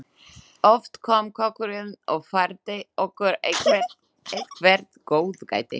Oft kom kokkurinn og færði okkur eitthvert góðgæti.